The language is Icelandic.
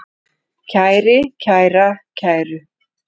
kæri, kæra, kæru